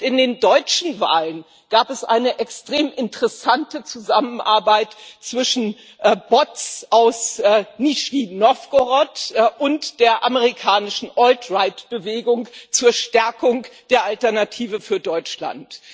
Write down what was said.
Und in den deutschen Wahlen gab es eine extrem interessante Zusammenarbeit zwischen Bots aus Nischni Nowgorod und der amerikanischen Alt Right Bewegung zur Stärkung der Alternative für Deutschland.